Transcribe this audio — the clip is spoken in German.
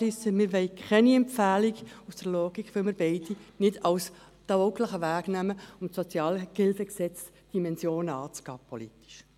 Aus dieser Logik wollen wir keine Empfehlung, weil wir beide Anträge nicht für einen tauglichen Weg halten, um die Dimensionen des SHG anzugehen.